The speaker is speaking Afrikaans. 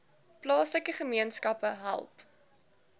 plaaslike gemeenskappe help